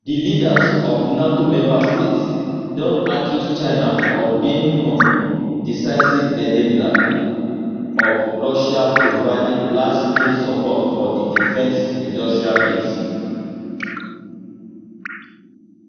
di leaders of nato members states don accuse china of being um decisive enabler of russia providing largescale support for di defence industrial base